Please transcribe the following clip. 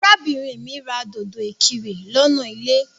Arábìnrin mí ra dòdò ìkirè lọ́nà ilé.